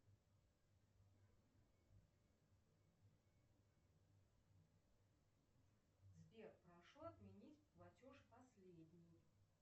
сбер прошу отменить платеж последний